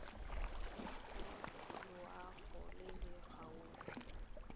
tsa loago e e gaufi